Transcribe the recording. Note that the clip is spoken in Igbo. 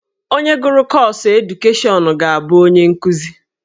Onye gụrụ kọọsụ edukeshọnụ ga-abụ onye nkuzi.